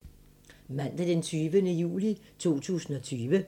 Mandag d. 20. juli 2020